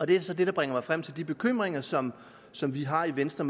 det er så det der bringer mig frem til de bekymringer som som vi har i venstre